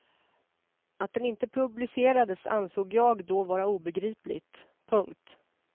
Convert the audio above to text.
Att den inte publicerades ansåg jag då vara obegripligt. punkt